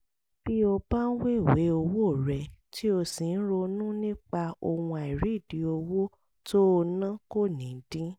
bí o bá ń wéwèé owó rẹ tí o sì ń ronú nípa ohun àìrídìí owó tó o ná kò ní dín